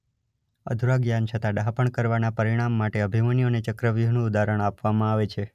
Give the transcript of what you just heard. અધુરા જ્ઞાન છતાં ડહાપણ કરવાના પરિણામ માટે અભિમન્યુ અને ચક્રવ્યૂહનું ઉદાહરણ અપવામાં આવે છે.